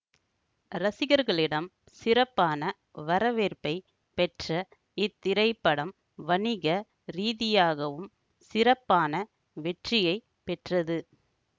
ரசிகர்களிடம் சிறப்பான வரவேற்பை பெற்ற இத்திரைப்படம் வணிக ரீதியாகவும் சிறப்பான வெற்றியை பெற்றது